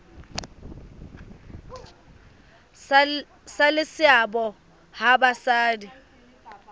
ba le seabo ha basadi